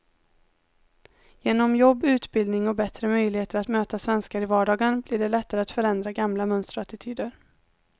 Genom jobb, utbildning och bättre möjligheter att möta svenskar i vardagen blir det lättare att förändra gamla mönster och attityder.